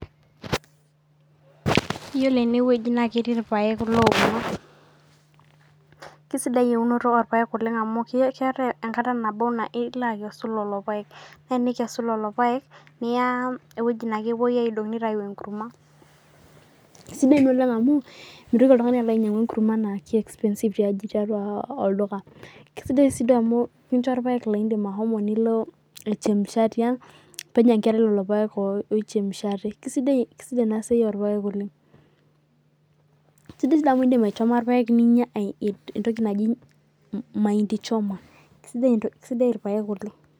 Yiolo enewueji na ketii irpaek ouno, kesidai eunoto orpaek amu keetae enkata nabo niloakesu lolopaek ore pikesu lolopaek niya ewoji nakepuoi aidong nitau enkurma kesidai oleng amu mitoki oltungani alo ainyangu nkurmanbna ke expensive tiaji tiatua olduka kesidai si amu ekincho irpak lilo aitokitokie penya nkera lolopake oichemshate kesidai enasia orpaek oleng, Kesidai amu indim aichoma irpaek ninya entoki naji mahindi choma Kesidai irpaek oleng.